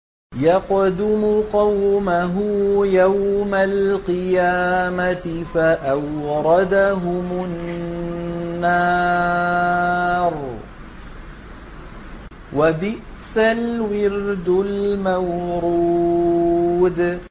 يَقْدُمُ قَوْمَهُ يَوْمَ الْقِيَامَةِ فَأَوْرَدَهُمُ النَّارَ ۖ وَبِئْسَ الْوِرْدُ الْمَوْرُودُ